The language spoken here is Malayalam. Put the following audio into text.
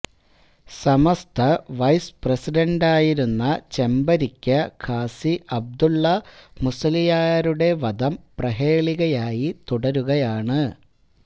സമസ്ത വൈസ് പ്രസിഡണ്ടായിരുന്ന ചെമ്പരിക്ക ഖാസി അബ്ദുല്ല മുസ്ലിയാരുടെ വധം പ്രഹേളികയായി തുടരുകയാണ്